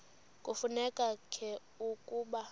kufuneka ke ukuba